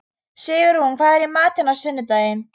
Sigurunn, hvað er í matinn á sunnudaginn?